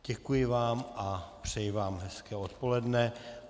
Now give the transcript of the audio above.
Děkuji vám a přeju vám hezké odpoledne.